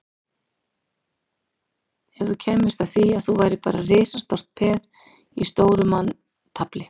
Ef þú kæmist að því að þú værir bara peð í risastóru manntafli